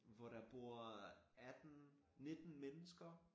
Hvor der bor 18 19 mennesker